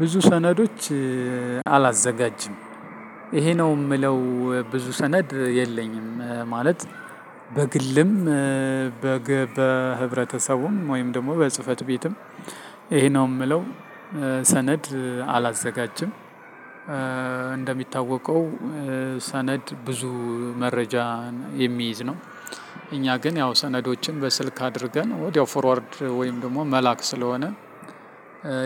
ብዙ ሰነዶች አላዘጋጅም። ይሄ ነው ምለው ብዙ ሰነድ የለኝም። ማለት በግልም በህብረተሰቡም ወይም ደግሞ በጽህፈት ቤትም ይሄ ነው የምለው ሰነድ አላዘጋጅም። እንደሚታወቀው ሰነድ ብዙ መረጃ የሚይዝ ነው። እኛ ግን ያው ሰነዶችን በስልክ አድርገን ወዲያው ፎርዋርድ ወይም ደግሞ መላክ ስለሆነ።